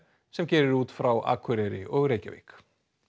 sem gerir út frá Akureyri og Reykjavík